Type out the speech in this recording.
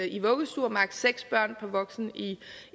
i vuggestuer og maks seks børn per voksen